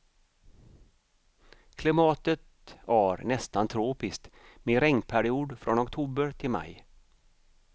Klimatet ar nästan tropiskt med regnperiod från oktober till maj.